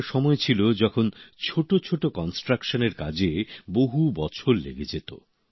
একটা সময় ছিল যখন ছোট ছোট নির্মাণের কাজে বহু বছর লেগে যেত